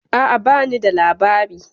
A'a ba ni da labari.